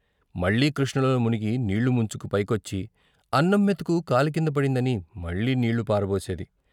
మళ్ళీ కృష్ణలో మునిగి నీళ్ళు ముంచుకు పైకొచ్చి, అన్నం మెతుకు కాలి కింద పడిందని మళ్ళీ నీళ్ళు పారబోసేది.